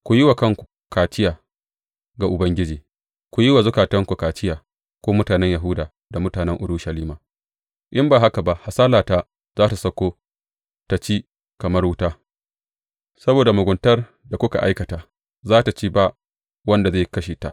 Ku yi wa kanku kaciya ga Ubangiji ku yi wa zukatanku kaciya, ku mutanen Yahuda da mutanen Urushalima, in ba haka ba hasalata za tă sauko ta ci kamar wuta saboda muguntar da kuka aikata za tă ci ba wanda zai kashe ta.